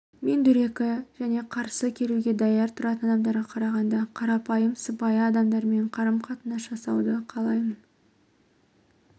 мен дөрекі және қарсы келуге даяр тұратын адамдарға қарағанда қарапайым сыпайы адамдармен қарым-қатынас жасауды қалаймын